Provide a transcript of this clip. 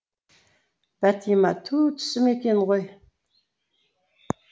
бәтима ту түсім екен ғой